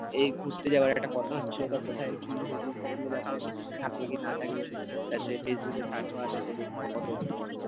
এই ঘুরতে যাওয়ার একটা কথা হচ্ছিল তা কোথায় কি হোটেলস হোটেলের ব্যাপার থাকবে কি না থাকবে সে ফেসবুকে search মারবে সে দেখি